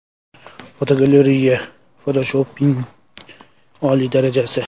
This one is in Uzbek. Fotogalereya: Fotoshopning oliy darajasi.